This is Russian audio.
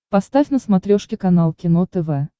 поставь на смотрешке канал кино тв